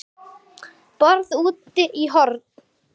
BORÐ ÚTI Í HORNI